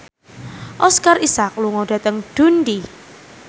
Oscar Isaac lunga dhateng Dundee